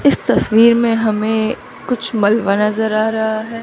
इस तस्वीर में हमें कुछ मलबा नजर आ रहा है।